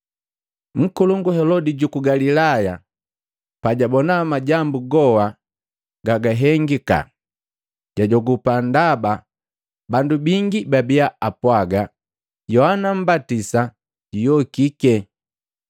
Nkolongu Helodi juku Galilaya, pajabona majambu goha gagahengika. Jajogupa ndaba bandu bangi babiya apwaaga, Yohana mmbatisa juyokiki.